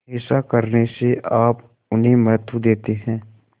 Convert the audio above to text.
ऐसा करने से आप उन्हें महत्व देते हैं